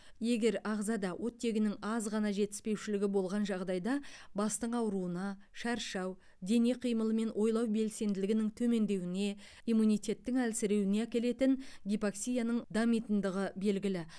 егер ағзада оттегінің аз ғана жетіспеушілігі болған жағдайда бастың ауруына шаршау дене қимылы мен ойлау белсенділігінің төмендеуіне иммунитеттің әлсіреуіне әкелетін гипоксияның дамитындығы белгілі